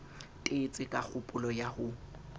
tetse ka kgopolo ya ho